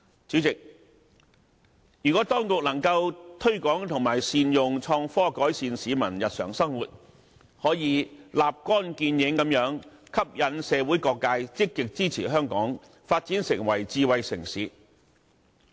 主席，如果當局能夠推廣和善用創新科技改善市民日常生活，可以立竿見影地吸引社會各界積極支持香港發展成為智慧城市。